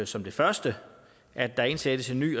som det første at der indsættes en ny